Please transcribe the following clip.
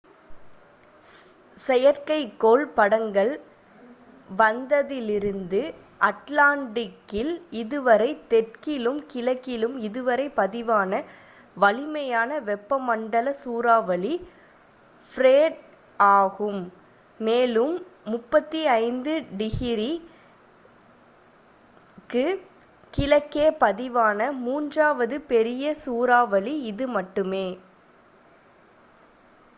செயற்கைக்கோள் படங்கள் வந்ததிலிருந்து அட்லாண்டிக்கில் இதுவரை தெற்கிலும் கிழக்கிலும் இதுவரை பதிவான வலிமையான வெப்பமண்டல சூறாவளி ஃப்ரெட் ஆகும் மேலும் 35 ° w க்கு கிழக்கே பதிவான மூன்றாவது பெரிய சூறாவளி இது மட்டுமே